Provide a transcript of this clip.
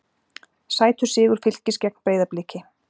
Sætur sigur Fylkis gegn Breiðabliki